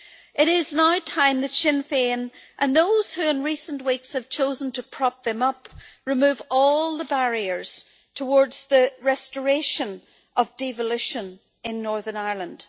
It is now time that Sinn Féin and those who in recent weeks have chosen to prop them up remove all the barriers towards the restoration of devolution in Northern Ireland.